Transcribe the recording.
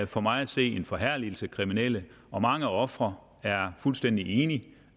for mig at se en forherligelse af kriminelle og mange ofre er fuldstændig